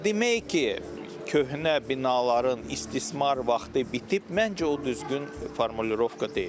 Amma demək ki, köhnə binaların istismar vaxtı bitib, məncə o düzgün formulirovka deyil.